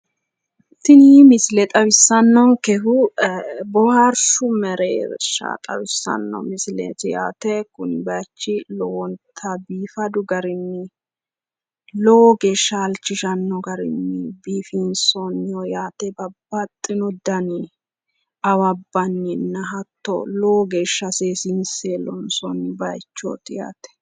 Tini misile xawissannonkehu boohaarshu mereersha xawissanno misileeti yaate. Kuni bayichi lowonta biifadu garinni lowo geeshsha halchishanno garinni biifinsoonniho yaate. Babbaxino dani awabbanninna hatto lowo geeshsha seesiinse loonsoonni bayichooti yaate.